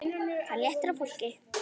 Það léttir á fólki.